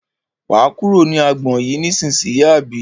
Wà á kúrò ní agbọn yìí ní ìsínyì àbí?